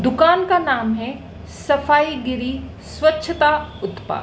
दुकान का नाम है सफाई गिरी स्वच्छता उत्पा--